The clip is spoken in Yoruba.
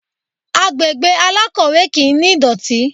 Agbègbè alákọ̀wẹ́ kì ní ìdọ̀tí.